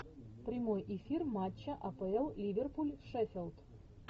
прямой эфир матча апл ливерпуль шеффилд